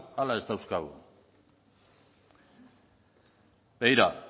ala ez dauzkagu begira